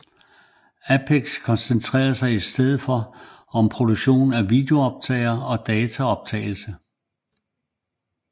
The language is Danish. Ampex koncentrerede sig i stedet for om produktion af videooptagere og dataoptagelse